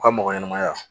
U ka mɔgɔ ɲɛnamaya